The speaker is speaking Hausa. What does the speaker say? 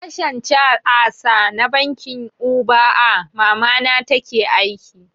A sashen C.I.S na bankin U.B.A mamana take aiki